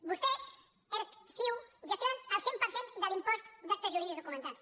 vostès erc ciu gestionen el cent per cent de l’impost d’actes jurídics documentats